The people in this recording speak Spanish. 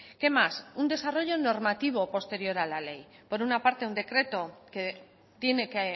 qué más un desarrollo normativo posterior a la ley por una parte un decreto que tiene que